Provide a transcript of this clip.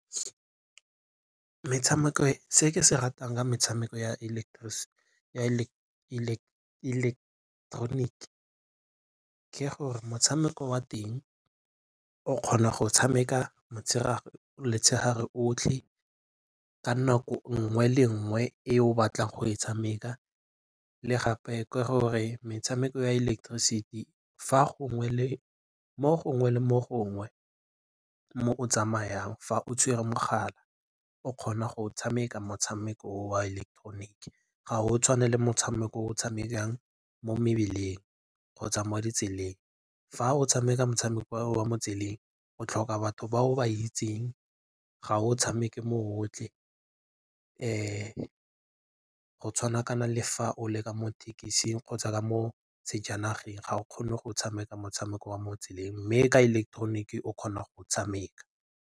Se ke se ratang ka metshameko ya ileketeroniki ke gore motshameko wa teng o kgona go tshameka motshegare otlhe ka nako nngwe le nngwe e o batlang go e tshameka le gape ke gore metshameko ya ileketeroniki mo gongwe le mo gongwe mo o tsamayang fa o tshwere mogala o kgona go tshameka motshameko o wa electronic, ga o tshwane le motshameko o tshamekang mo mebileng kgotsa mo ditseleng. Fa o tshameka motshameko wa mo tseleng o tlhoka batho ba o ba itseng ga o tshameke mo gotlhe gotshwana kana le fa o le ka mo thekising kgotsa ka mo sejanageng ga o kgone go tshameka motshameko wa mo tseleng mme ka ileketeroniki o kgona go tshameka.